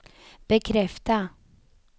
bekräfta